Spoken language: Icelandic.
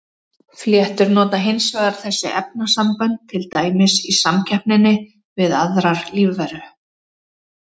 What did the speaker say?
Fléttur nota hins vegar þessi efnasambönd til dæmis í samkeppninni við aðrar lífveru.